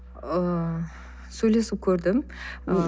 ыыы сөйлесіп көрдім ы